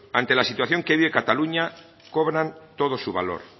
ante la situación que vive cataluña cobran todo su valor